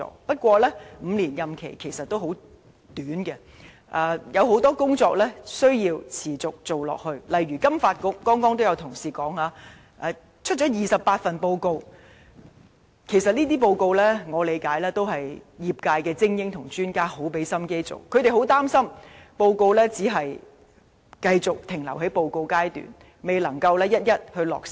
不過 ，5 年任期其實很短，很多工作也需要持續進行，例如剛才也有同事提到，金發局至今發表了28份報告，而且以我理解，這些報告都是由業界精英和專家努力製作，他們很擔心報告只是繼續停留在報告階段，未能一一落實。